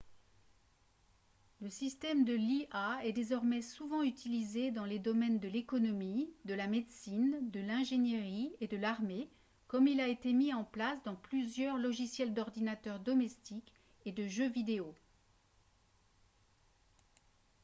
le système de l'ia est désormais souvent utilisé dans les domaines de l'économie de la médecine de l'ingénierie et de l'armée comme il l'a été mis en plance dans plusieurs logiciels d'ordinateur domestique et de jeux vidéo